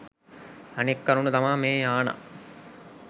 අනෙක් කරුණු තමා මේ යානා